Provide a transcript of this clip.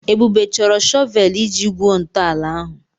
Ebube chọrọ shọvel iji gwuo ntọala ahụ.